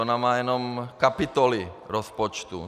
Ona má jen kapitoly rozpočtu.